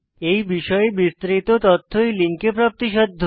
এই বিষয়ে বিস্তারিত তথ্য এই লিঙ্কে প্রাপ্তিসাধ্য